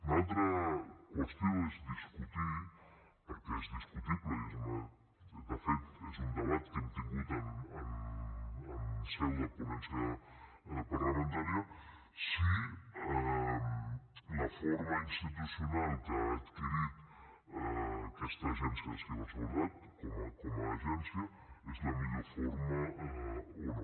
una altra qüestió és discutir perquè és discutible i és de fet un debat que hem tingut en seu de ponència parlamentària si la forma institucional que ha adquirit aquesta agència de ciberseguretat com a agència és la millor forma o no